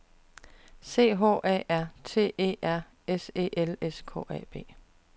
C H A R T E R S E L S K A B